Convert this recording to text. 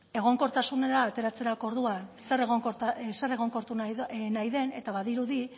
egonkortasunera ateratzeko orduan zer egonkortu nahi den eta badirudi